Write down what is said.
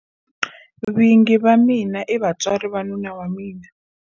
Vingi va mina i vatswari va nuna wa mina